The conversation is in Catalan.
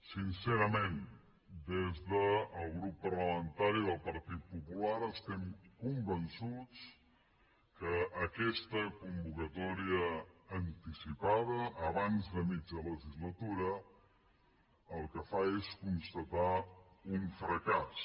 sincerament des del grup parlamentari del partit popular estem convençuts que aquesta convocatòria anticipada abans de mitja legislatura el que fa és constatar un fracàs